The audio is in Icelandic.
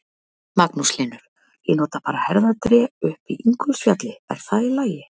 Magnús Hlynur: Ég nota bara herðatré upp í Ingólfsfjalli, er það í lagi?